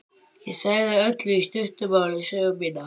Ég sagði Öllu í stuttu máli sögu mína.